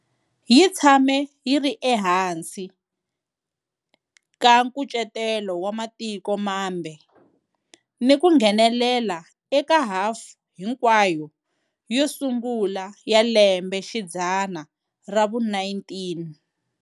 Yi tshame yi ri ehansi ka nkucetelo wa matiko mambe ni ku nghenelela eka hafu hinkwayo yo sungula ya lembexidzana ra vu-19.